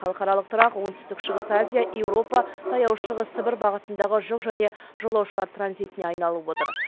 халықаралық тұрақ оңтүстік шығыс азия еуропа таяу шығыс сібір бағытындағы жүк және жолаушылар транзитіне айлып отыр